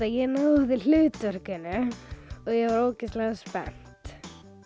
ég náði hlutverkinu og ég var ógeðslega spennt